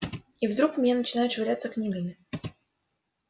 и вдруг в меня начинают швыряться книгами